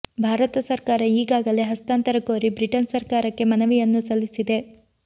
ಭಾರತ ಸರ್ಕಾರ ಈಗಾಗಲೇ ಹಸ್ತಾಂತರ ಕೋರಿ ಬ್ರಿಟನ್ ಸರ್ಕಾರಕ್ಕೆ ಮನವಿಯನ್ನೂ ಸಲ್ಲಿಸಿದೆ